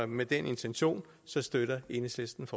med den intention støtter enhedslisten